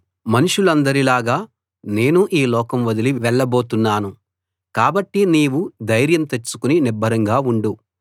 మనుషులందరి లాగా నేనూ ఈ లోకం వదిలి వెళబోతున్నాను కాబట్టి నీవు ధైర్యం తెచ్చుకుని నిబ్బరంగా ఉండు